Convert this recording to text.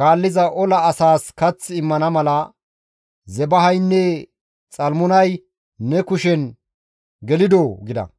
kaalliza ola asaas kath immana mala Zebahaynne Xalmunay ne kushen gelidoo?» gida.